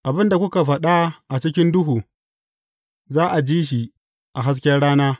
Abin da kuka faɗa a cikin duhu, za a ji shi a hasken rana.